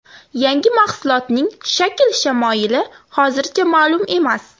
Yangi mahsulotning shakl-shamoyili hozircha ma’lum emas.